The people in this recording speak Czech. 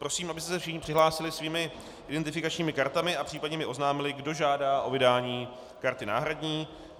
Prosím, abyste se všichni přihlásili svými identifikačními kartami a případně mi oznámili, kdo žádá o vydání karty náhradní.